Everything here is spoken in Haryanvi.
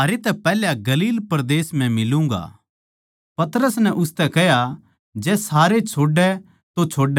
पतरस नै उसतै कह्या जै सारे छोड़ै तो छोड़ै पर मै तेरा साथ कदे न्ही छोडुंगा